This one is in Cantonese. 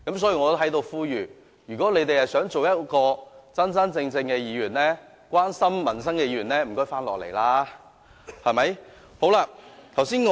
所以，我在此呼籲，如果他們想做真真正正關心民生的議員，請回來開會。